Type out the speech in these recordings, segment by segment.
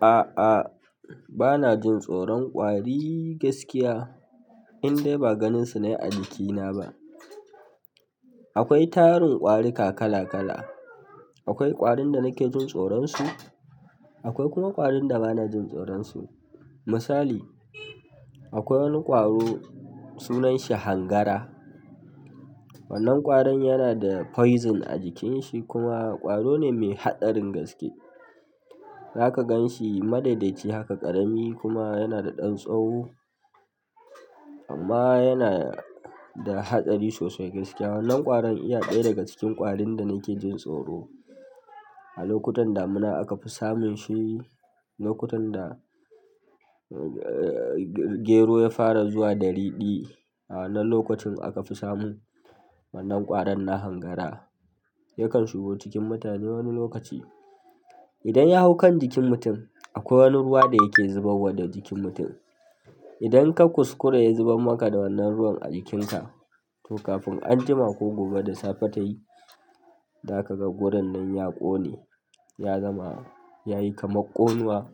A'a, bana jin tsoron ƙwari gaskiya indai ba ganin su nayi a jikina ba. Akwai tarin ƙwarika kala kala. Akwai ƙwarin da nake jin tsoron su, akwai kuma ƙwarin da bana jin tsoron su. Misali, akwai wani ƙwaro sunan shi hangara. Wannan ƙwarin yana da poison a jikin shi kuma ƙwaro ne mai haɗarin gaske. Zaka gan shi madaidaici haka ƙarami kuma yana da ɗan tsawo, amma yana da haɗari sosai gaskiya. Wannan ƙwarin iya ɗaya daga cikin ƙwarin da nake jin tsoro. A lokutan damuna aka fi samun shi, lokutan da gero ya fara zuwa da riɗi. A wannan lokacin aka fi samun wannan ƙwaron na hangara. Yakan shigo cikin mutane wani lokaci. Idan ya hau kan jikin mutum, akwai wani ruwa da yake zubar wa da jikin mutum. Idan ka kuskura ya zubar maka da wannan ruwan a jikin ka, to kafin anjima ko gobe da tayi zaka ga wurin nan ya ƙone, ya zama kamar ƙonuwa.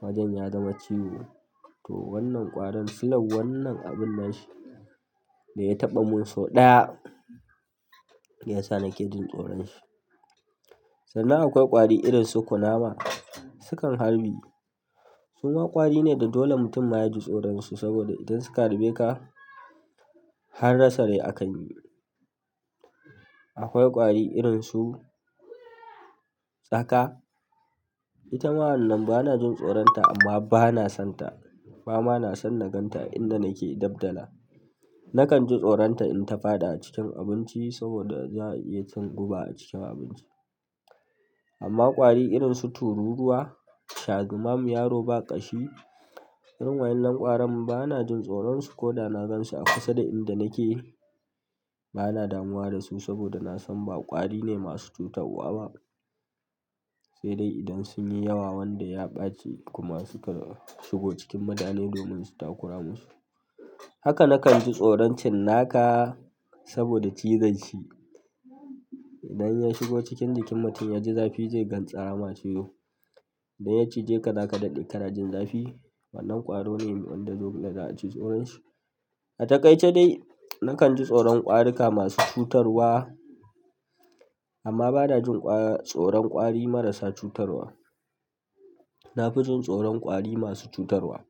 Wajen ya zama ciwo. To wannan ƙwaron silar wannan abun na shi, da ya taɓa mun sau ɗaya ya sa nake jin tsoron shi. Sannan akwai ƙwari irin su kunama, su kan harbi. Su ma ƙwari ne da dole mutum ma ya ji tsoron su saboda idan suka harbe ka, har rasa rai akan yi. Akwai ƙwari irin su tsaka. Ita wannan bana jin tsoron ta amma bana son ta, ba ma na son na gan ta inda nake dab dala. Nakan ji tsoron ta in ta faɗi a cikin abinci saboda za'a iya cin guba a cikin abinci. Amma ƙwari irin su tururuwa, shazumamu, yaro ba ƙashi, irin waɗannan ƙwarin bana jin tsoron su ko da na gan su a kusa da inda nake. Bana damuwa da su saboda na san ba ƙwari ne masu cutarwa ba. Sai dai idan sunyi yawa wanda ya ɓaci kuma suka shigo cikin mutane domin su takura musu. Haka nakan ji tsoron cinnaka saboda cizon shi, idan ya shigo cikin jikin mutum yaji zafi zai gantsara ma cizo. Idan ya cije ka za ka daɗe ka na jin zafi. Wannan ƙwaro ne wanda dole za a ji tsoron shi. A takaice dai, nakan ji tsoron ƙwarika masu cutarwa amma bana jin-- tsoron ƙwari marasa cutarwa. Na fi jin tsoron ƙwari masu cutarwa.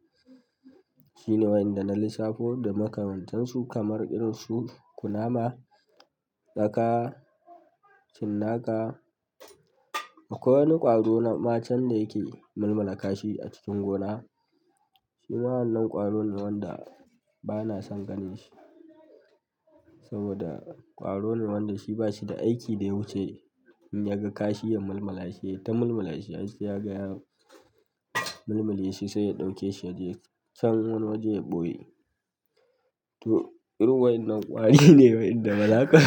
Shi ne waƴanda na lissafo da makamantansu, kamar irin su kunama, tsaka, cinnaka. Akwai wani ƙwaro ma can da yake mulmala kashi a cikin gona. Shi ma wannan ƙwaro ne wanda bana son ganin shi, saboda ƙwaro ne wanda shi ba shi da aiki da ya wuce in yaga kashi ya mulmala shi. Yayi ta mulmala shi, har sai ya ga ya mulmule shi, sai ya ɗauke shi ya je can wani waje ya ɓoye. To irin waɗannan ƙwari ne waɗanda bazaka.